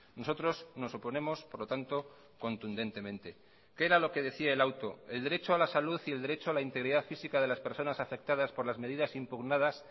nosotros nos oponemos por lo tanto contundentemente qué era lo que decía el auto el derecho a la salud y el derecho a la integridad física de las personas afectadas por las medidas impugnadas